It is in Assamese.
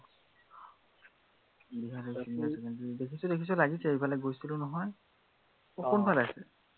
বিহালী senior secondary টো দেখিছো দেখিছো লাগিছে, সেইফালে গৈছিলো নহয়, কোনফালে আছে?